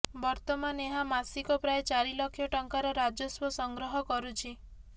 ବର୍ତ୍ତମାନ ଏହା ମାସିକ ପ୍ରାୟ ଚାରି ଲକ୍ଷ ଟଙ୍କାର ରାଜସ୍ବ ସଂଗ୍ରହ କରୁଛି